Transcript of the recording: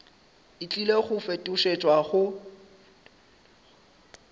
e tlile go fetošetšwa go